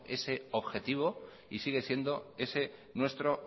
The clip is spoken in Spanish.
ese objetivo y sigue siendo ese nuestro